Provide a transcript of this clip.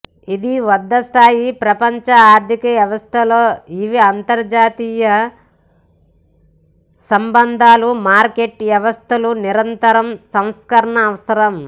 ఇది వద్ద స్థాయి ప్రపంచ ఆర్థిక వ్యవస్థలో ఇవి అంతర్జాతీయ సంబంధాలు మార్కెట్ వ్యవస్థలు నిరంతరం సంస్కరణ అవసరం